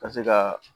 Ka se ka